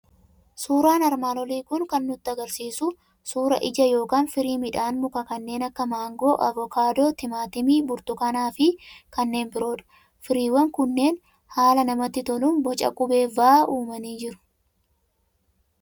Suuraan armaannolii kan inni nutti argisiisu suuraa ija yookiin firii midhaan mukaa kanneen akka maangoo, avokaadoo, timaatimii, burtukaanaa fi kanneen biroo dha. Firiiwwan kunneen haala namatti toluun boca qubee "V" uumanii jiru.